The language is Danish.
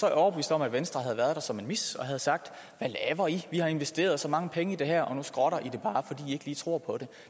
jeg overbevist om at venstre havde været der som en mis og havde sagt hvad laver i vi har investeret så mange penge i det her og nu skrotter i det bare fordi i lige tror på det